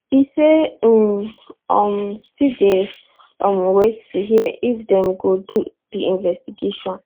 e say im um still dey um wait to hear if dem go do di investigation